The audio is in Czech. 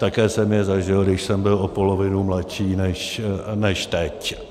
Také jsem je zažil, když jsem byl o polovinu mladší než teď.